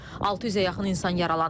600-ə yaxın insan yaralanıb.